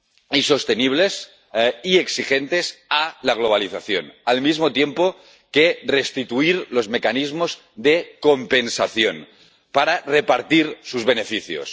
y exigentes a la globalización, al mismo tiempo que restituir los mecanismos de compensación para repartir sus beneficios.